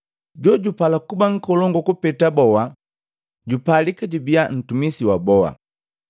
Jojupala kuba nkolongu kupeta boa, jupalika jubia mtumisi wa boa.